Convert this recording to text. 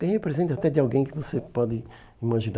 Ganhei um presente até de alguém que você pode imaginar.